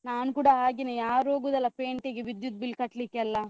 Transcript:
ನಾನ್ ಕೂಡ ಹಾಗೆನೆ, ಯಾರು ಹೋಗುದಲ್ಲ ವಿದ್ಯುತ್ bill ಕಟ್ಲಿಕ್ಕೆಲ್ಲ.